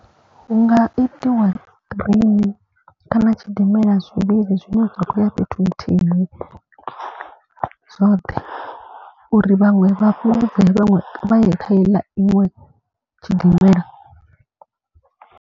Hu nga itiwa train kana tshidimela zwivhili zwine zwa khou ya fhethu nthihi zwoṱhe. Uri vhaṅwe vha fhungudzee vhaṅwe vha ye kha iḽa iṅwe tshidimela.